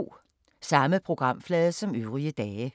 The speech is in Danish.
Samme programflade som øvrige dage